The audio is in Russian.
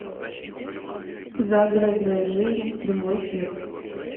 загородная жизнь прямой эфир